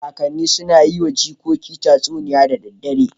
Kakanni suna yi wa jikokinsu tatsuniya da daddare